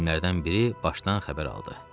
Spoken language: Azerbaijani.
Qoca alimlərdən biri başdan xəbər aldı.